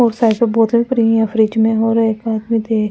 उस साइड पे बोतल फ्री है फ्रिज मे हो रहे --